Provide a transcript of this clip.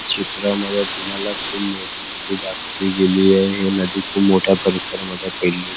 चित्रा मध्ये तुम्हाला खुप मोठी नदी दाखवली गेलेली अहे नदी खुप मोठ्या परिसर मध्ये फिरले--